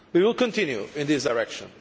We will continue in this direction.